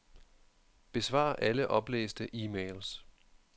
Besvar alle oplæste e-mails.